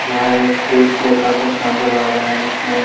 यहाँ एक खेत जेसा कुछ नज़र आ रहा है जिसमें--